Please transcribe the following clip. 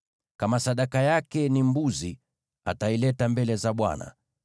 “ ‘Kama sadaka yake ni mbuzi, ataileta mbele za Bwana .